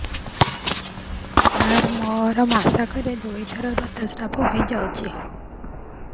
ସାର ମୋର ମାସକରେ ଦୁଇଥର ଋତୁସ୍ରାବ ହୋଇଯାଉଛି